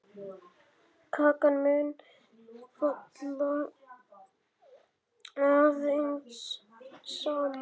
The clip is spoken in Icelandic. Kakan mun falla aðeins saman.